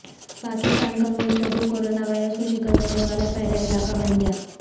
پاکستان کا وہ حصہ جو کرونا وائرس کو شکست دینے والا پہلا علاقہ بن گیا